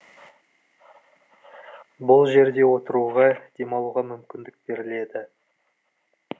бұл жерде отыруға демалуға мүмкіндік беріледі